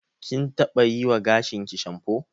Kin taɓa yiwa gashinki shamfo.